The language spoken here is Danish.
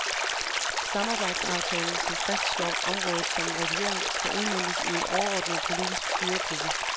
Samarbejdsaftalen, som fastslår området som en region, skal udmøntes i en overordnet politisk styregruppe.